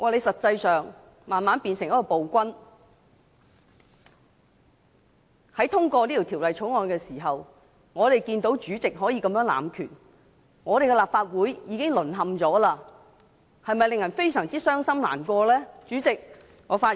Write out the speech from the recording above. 實際上，你慢慢變成一名暴君，在通過這項《條例草案》的時候，我們看到主席這樣濫權，立法會已經淪陷，的確令人非常傷心難過。